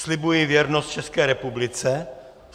"Slibuji věrnost České republice.